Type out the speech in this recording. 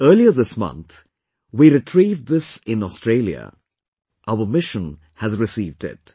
Earlier this month, we retrieved this in Australia; our Mission has received it